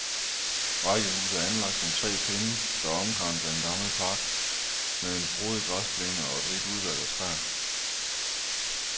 Rækkehusene er anlagt som tre pinde, der omkranser en gammel park med en frodig græsplæne og et rigt udvalg af træer.